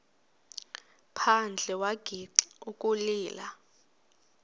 phandle wagixa ukulila